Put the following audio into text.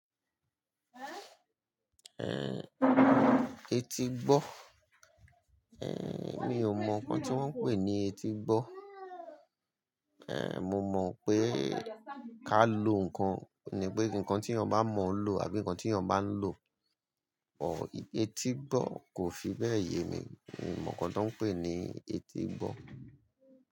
Etígbọ̀, mi ò mọ̀ nǹkan tí wọ́n ń pè ní etígbọ̀. Ẹ̀, mo mọ̀ pé ká lọ nǹkan ni pé ǹkan tí ènìyàn bá mọ̀ ń lò àbí ǹkan tí èèyàn bá ń lò. Etígbọ̀ kò fi bẹ́ẹ̀ yé mi, mi ò mọ̀ nǹkan tí wọ́n ń pè ní etígbọ̀